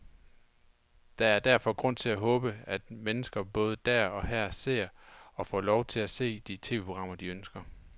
Der er derfor grund til at håbe, at mennesker både der og her ser, og får lov til at se, de tv-programmer, de ønsker.